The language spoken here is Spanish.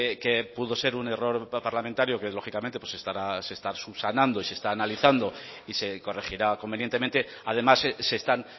que pudo ser un error parlamentario que lógicamente se está subsanando y se está analizando y se corregirá convenientemente además se están